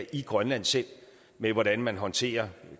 i grønland selv med hvordan man håndterer